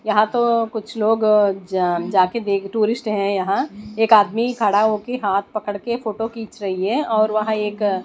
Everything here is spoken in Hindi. यहां तो कुछ लोग जा जाके देख टूरिस्ट है यहां एक आदमी खड़ा होके हाथ पकड़ के फोटो खींच रही है और वह एक--